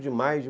de maio